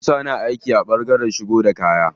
Musa na aiki a ɓangaren shigo da kaya.